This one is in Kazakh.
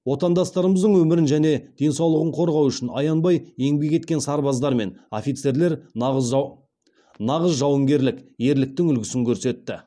отандастарымыздың өмірін және денсаулығын қорғау үшін аянбай еңбек еткен сарбаздар мен офицерлер нағыз жауынгерлік ерліктің үлгісін көрсетті